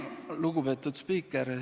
Lugupeetud spiiker!